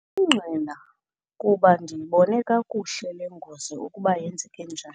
ngqina kuba ndiyibone kakuhle le ngozi ukuba yenzeke njani.